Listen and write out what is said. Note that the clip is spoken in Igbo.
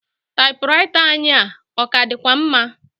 Taịpụraịta anyị a, ọ ka dịkwa mma?